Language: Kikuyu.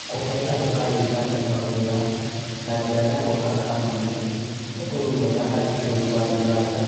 Kũhe andũ a ũganda mawĩra na njĩra ya gwaka kambuni nĩ ũndũ mwega harĩ bũrũri wa Uganda.